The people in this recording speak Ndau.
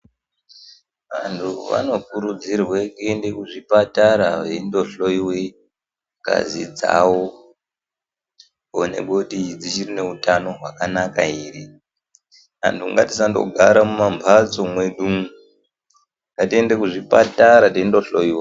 Anhu vanokurudzirwe kuende kuzvipatara veindohloiwe ngazi dzawo kuonekwe kuti dzivhiri neutano hwakanaka ere antu ngatisandogara mumamhatso medu umo ngatiende kuzvipatara teindohloiwa.